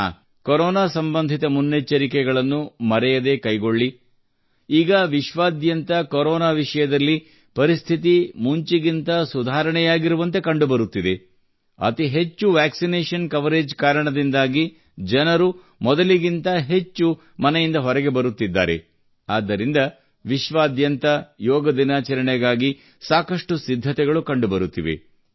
ಹಾಂ ಕೊರೋನಾ ಸಂಬಂಧಿತ ಮುನ್ನೆಚ್ಚರಿಕೆಗಳನ್ನು ಮರೆಯದೇ ಕೈಗೊಳ್ಳಿ ಈಗ ವಿಶ್ವಾದ್ಯಾಂತ ಕೊರೋನಾ ವಿಷಯದಲ್ಲಿ ಪರಿಸ್ಥಿತಿ ಮುಂಚಿಗಿಂತ ಸುಧಾರಣೆಯಾಗಿರುವಂತೆ ಕಂಡುಬರುತ್ತಿದೆ ಅತಿ ಹೆಚ್ಚು ವ್ಯಾಕ್ಸಿನೇಷನ್ ಕವರೇಜ್ ಕಾರಣದಿಂದಾಗಿ ಜನರು ಮೊದಲಿಗಿಂತ ಹೆಚ್ಚು ಮನೆಯಿಂದ ಹೊರಗೆ ಬರುತ್ತಿದ್ದಾರೆ ಆದ್ದರಿಂದ ವಿಶ್ವಾದ್ಯಂತ ಯೋಗ ದಿನಾಚರಣೆಗಾಗಿ ಸಾಕಷ್ಟು ಸಿದ್ಧತೆಗಳು ಕಂಡುಬರುತ್ತಿವೆ